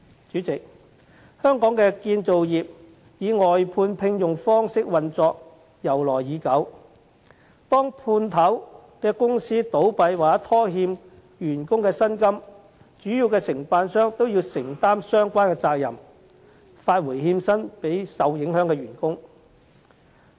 主席，香港的建造業以外判聘用方式運作由來已久，當判頭公司倒閉或拖欠員工薪金時，主要承辦商都要承擔相關責任，發回欠薪予受影響的員工。